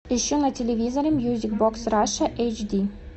ищу на телевизоре мьюзик бокс раша эйч ди